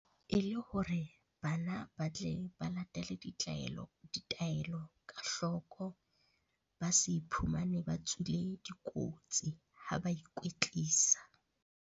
E le hore bana ba tle ba latele ditaelo ka hloko, ba se iphumane ba tswile dikotsi ha ba ikwetlisa.